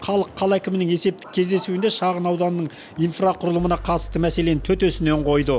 халық қала әкімінің есептік кездесуінде шағын ауданның инфрақұрылымына қатысты мәселені төтесінен қойды